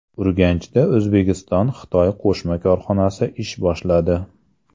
Urganchda O‘zbekistonXitoy qo‘shma korxonasi ish boshladi .